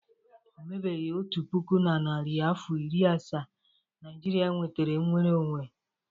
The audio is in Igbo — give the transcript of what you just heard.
O mebeghi otu puku na narị afọ iri asaa Naịjirịa nwetara mnwere onwe.